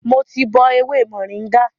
Mo ti bọ ewé mòríngà